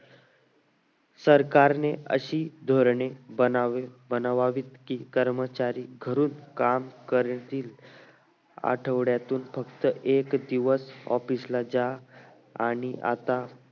सरकारने अशी धोरणे बनवावीत की कर्मचारी घरून काम करतील आठवड्यातील फक्त एक दिवस office ला जा आणि आता